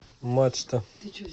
мачта